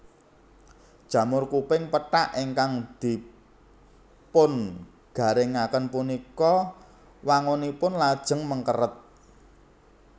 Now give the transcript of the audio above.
Jamur kuping pethak ingkang dipungaringaken punika wangunipun lajeng mengkeret